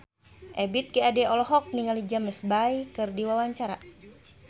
Ebith G. Ade olohok ningali James Bay keur diwawancara